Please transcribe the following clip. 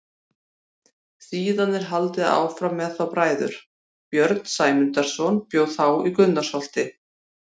Síðan er haldið áfram með þá bræður: Björn Sæmundarson bjó þá í Gunnarsholti.